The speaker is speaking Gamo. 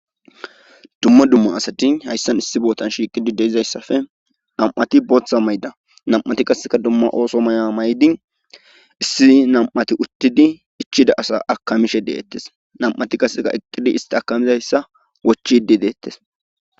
dumma dumma asati hayssan issi bootan shiiqidi de'izayssafe nam'ati bootha mayda nam'ati qasseka dumma ooso maya mayidi issi nam7ati uttidi ichida asa akamishe deettes nam'ati qaseka eqqidi isti akamizayssa wochidi deettes